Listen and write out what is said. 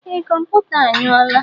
Ee, kọmputa a nyou la.